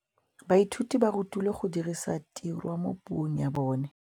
Baithuti ba rutilwe go dirisa tirwa mo puong ya bone.